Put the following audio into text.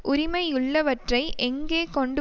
உரிமையுள்ளவற்றை எங்கே கொண்டு